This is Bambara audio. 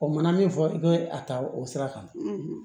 O mana min fɔ i bɛ a ta o sira kan